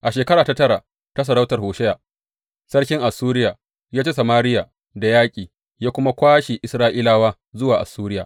A shekara ta tara ta sarautar Hosheya, sarkin Assuriya ya ci Samariya da yaƙi ya kuma kwashe Isra’ilawa zuwa Assuriya.